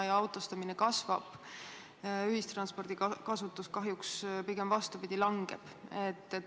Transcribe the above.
Autostumine kasvab ja ühistranspordi kasutamine kahjuks, pigem vastupidi, langeb.